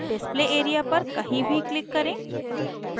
display area पर कहीं भी click करें